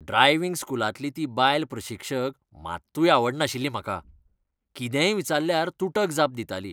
Driving स्कुलांतली ती बायल प्रशिक्षक मात्तूय आवडनाशिल्ली म्हाका. कितेंय विचाल्ल्यार तुटक जाप दिताली.